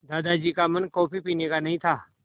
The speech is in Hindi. दादाजी का मन कॉफ़ी पीने का नहीं था